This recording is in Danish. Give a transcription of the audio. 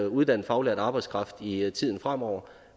uddannet faglært arbejdskraft i tiden fremover